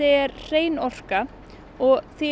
er hrein orka og því